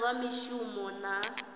na zwa mishumo vha na